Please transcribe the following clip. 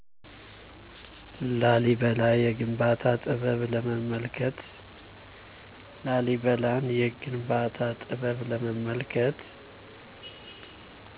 ላሊበላ የግንባታ ጥበብ ለመመልከት።